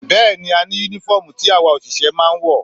Bẹ́ẹ̀ni, a ní Únífọ́ọ̀mù tí àwa òṣìṣẹ́ máa ń wọ̀